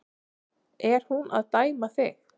Er hún að dæma þig?